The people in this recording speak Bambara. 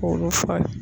K'olu falen